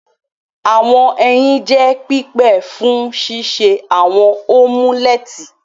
Awọn ẹyin jẹ pipe fun ṣiṣe awọn omuleti.